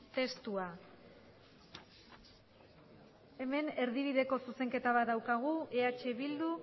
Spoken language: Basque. testua hemen erdibideko zuzenketa bat daukagu eh bildu